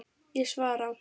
Ég svara.